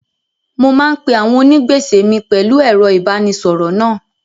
Mo máa ń pe àwọn onígbèsè mi pẹ̀lú ẹ̀rọ ìbánisọ̀rọ̀ náà.